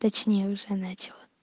точнее уже начало